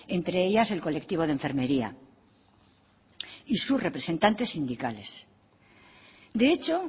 entre ellas el colectivo de enfermería y sus representantes sindicales de hecho